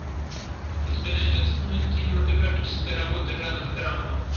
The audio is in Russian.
у тебя найдется кинематографическая работа жанр драма